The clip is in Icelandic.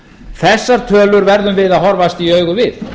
þessar tölur verðum við að horfast í augu við